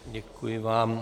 Děkuji vám.